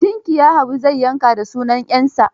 Tinkiya Isa zai yanka da sunan 'yarsa